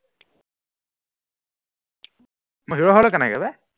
মই হিৰ হলো কেনেকে বে